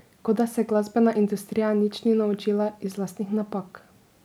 Kot da se glasbena industrija nič ni naučila iz lastnih napak.